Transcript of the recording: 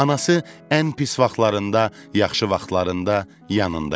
Anası ən pis vaxtlarında, yaxşı vaxtlarında yanında idi.